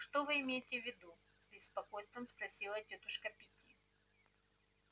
что вы имеете в виду с беспокойством спросила тётушка питти